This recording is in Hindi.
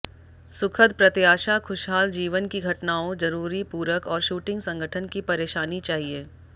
सुखद प्रत्याशा खुशहाल जीवन की घटनाओं जरूरी पूरक और शूटिंग संगठन की परेशानी चाहिए